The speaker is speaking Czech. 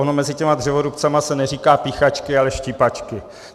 Ono mezi těmi dřevorubci se neříká píchačky, ale štípačky.